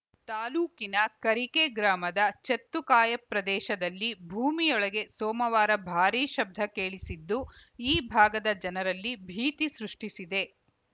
ತಾಲೂಕಿನ ಕರಿಕೆ ಗ್ರಾಮದ ಚೆತ್ತುಕಾಯ ಪ್ರದೇಶದಲ್ಲಿ ಭೂಮಿಯೊಳಗೆ ಸೋಮವಾರ ಭಾರಿ ಶಬ್ದ ಕೇಳಿಸಿದ್ದು ಈ ಭಾಗದ ಜನರಲ್ಲಿ ಭೀತಿ ಸೃಷ್ಟಿಸಿದೆ